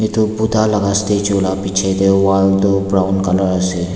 edu buddha laka statue la bichae tae wall tu brown colour ase.